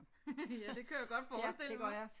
Ja det kunne jeg godt forestille mig